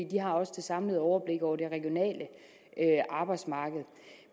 de har også det samlede overblik over det regionale arbejdsmarked